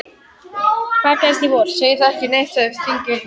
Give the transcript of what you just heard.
Hvað gerist í vor?